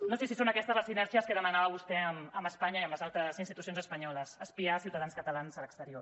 no sé si són aquestes les sinèrgies que demanava vostè amb espanya i amb les altres institucions espanyoles espiar ciutadans catalans a l’exterior